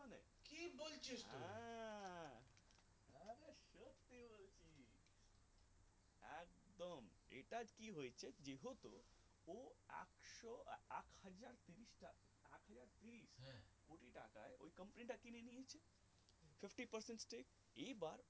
company টা কিনেছি fifty percent এই এবার